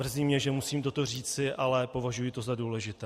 Mrzí mě, že musím toto říci, ale považuji to za důležité.